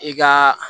I ka